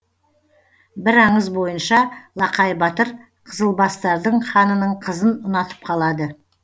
бір аңыз бойынша лақай батыр қызылбастардың ханының қызын ұнатып қалады